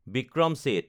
Vikram Seth